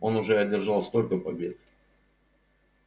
он уже одержал столько побед